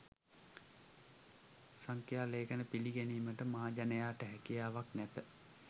සංඛ්‍යා ලේඛන පිළිගැනීමට මහජනයාට හැකියාවක් නැත